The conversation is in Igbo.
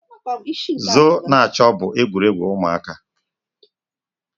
Zoo na-achọ bụ egwuregwu ụmụaka.